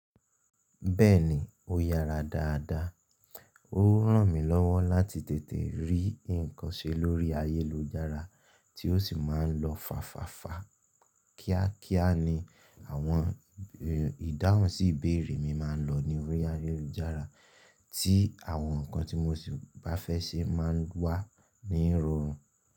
Bẹ́ẹ̀ni, ó yára dáadáa. Ó ràn mí lọ́wọ́ láti tètè rí ǹkan ṣe lórí ayélujára tí ó sì má ń lọ fàfàfà. Kíákíá ni àwọn ìdáhùn sí ìbéèrè mi máa ń lọ ní orí ayélujára tí àwọn ǹkan tí mo sì bá fẹ́ ṣe máa ń wà ní ìrọ̀rùn.